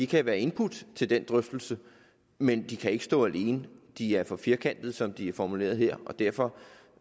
kan være input til den drøftelse men de kan ikke stå alene de er for firkantede som de er formuleret her og derfor